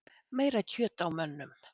Meira kjöt á mönnum